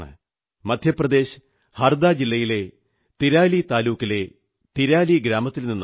മധ്യപ്രദേശ് ഹർദാ ജില്ലയിലെ തിരാലി താലൂക്കിലെ തിരാലി ഗ്രാമത്തിൽ നിന്നാണ്